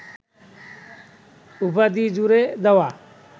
উপাধি জুড়ে দেওয়া